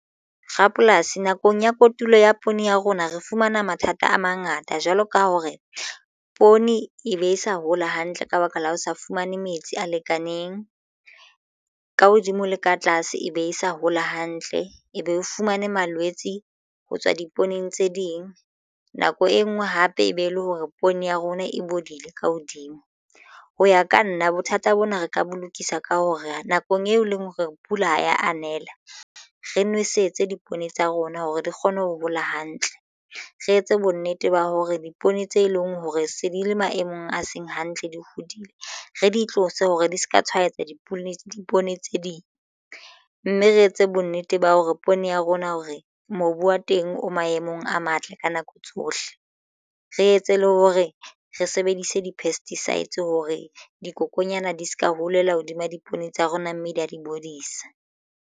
Rapolasi nakong ya kotulo ya poone ya rona re fumana mathata a mangata jwalo ka hore poone e be e sa hola hantle ka baka la ho sa fumane metsi a lekaneng ka hodimo le ka tlase e be e sa hola hantle ebe o fumane malwetse ho tswa dipolekeng tse ding. Nako e nngwe hape e be e le hore poone ya rona e bodile ka hodimo ho ya ka nna bothata bona re ka bo lokisa ka hore, nakong eo e leng hore pula ha ya anela re nwesetse dipoone tsa rona hore di kgone ho hola hantle re etse bonnete ba hore dipoone tse leng hore se di le maemong a seng hantle di hodile re di tlose hore di se ka tshwaetsa dipoone dipoone tse ding, mme re etse bonnete ba hore poone ya rona hore re mobu wa teng o maemong a matle ka nako tsohle re etse le hore re sebedise di-pesticides hore dikokonyana di se ka holela hodima dipoone tsa rona mme di a di bodisa.